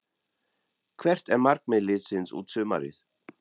Hvert er markmið liðsins út sumarið?